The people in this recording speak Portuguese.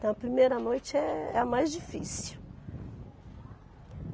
Então a primeira noite é a mais difícil.